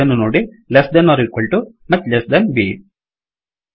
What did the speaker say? ಇದನ್ನು ನೋಡಿ less than or equal to much less than B